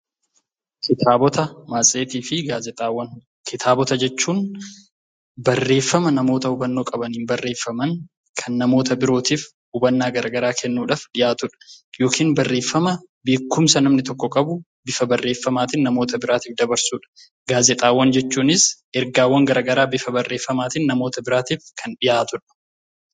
Kitaabota jechuun barreeffama nama hubannoo qabaniin barreeffaman kan namoota birootiif hubannaa garaa garaa kennuudhaaf dhiyaatu; yookiin beekumsa nama tokkoo bifa barreeffamaan dhiyaatudha. Gaazexaawwan jechuunis ergaawwan gara garaa bifa barreeffamaatiin namoota birootiif kan dhiyaatudha.